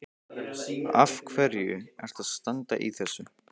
Af hverju ertu að standa í þessu?